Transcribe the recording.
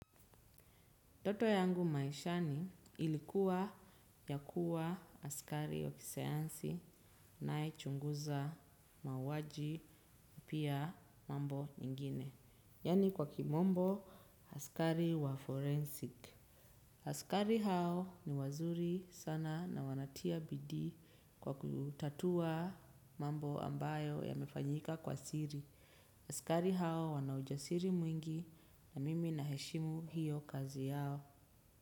Toto yangu maishani, ilikuwa ya kua, askari wa kisayansi, anaechunguza mauwaji, pia, mambo nyingine. Yaani kwa Kimombo, askari wa forensic. Askari hao ni wazuri sana na wanatia bidii kwa kutatua, mambo ambayo yamefanyika kwa siri. Askari hao wanaujasiri mwingi na mimi na heshimu hiyo kazi yao.